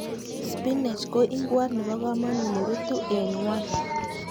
Spinak ko ing'wot nebo komonut nerutu en ngwony.